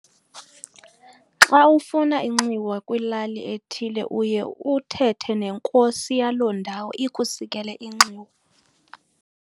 Xa ufuna inxiwa kwilali ethile uye uthethe nenkosi yaloo ndawo ikhusi kele inxiwa.